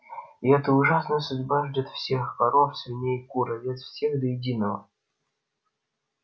и эта ужасная судьба ждёт всех коров свиней кур овец всех до единого